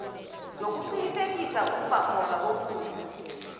yokuqinisekisa ukubakhona kokudla